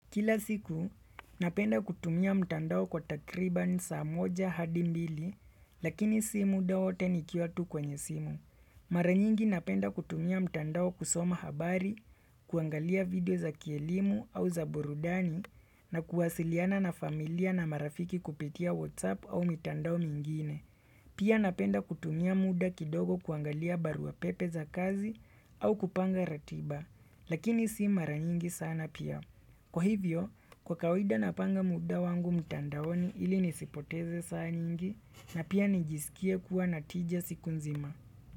Kila siku, napenda kutumia mtandao kwa takriban saa moja hadi mbili, lakini si mda wote nikiwa tu kwenye simu. Maranyingi napenda kutumia mtandao kusoma habari, kuangalia video za kielimu au za burudani, na kuwasiliana na familia na marafiki kupitia WhatsApp au mitandao mingine. Pia napenda kutumia muda kidogo kuangalia barua pepe za kazi au kupanga ratiba, lakini si mara nyingi sana pia. Kwa hivyo, kwa kawida napanga muda wangu mtandaoni ili nisipoteze saa nyingi na pia nijisikie kuwa natija siku nzima.